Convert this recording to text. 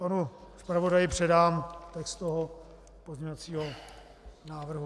Panu zpravodaji předám text toho pozměňovacího návrhu.